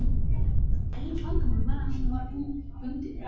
Eina vandamálið var að hann var bundinn.